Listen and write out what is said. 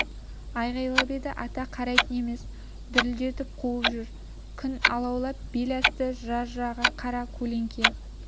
айқайлап еді ата қарайтын емес дүрілдетіп қуып жүр күн алаулап бел асты жыра-жыраға қара көлеңке